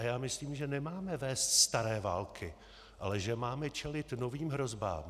A já myslím, že nemáme vést staré války, ale že máme čelit novým hrozbám.